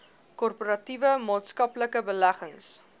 korporatiewe maatskaplike beleggings